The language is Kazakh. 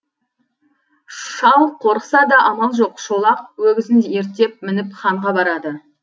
шал қорықса да амал жоқ шолақ өгізін ерттеп мініп ханға барады